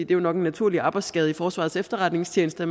det er nok en naturlig arbejdsskade i forsvarets efterretningstjeneste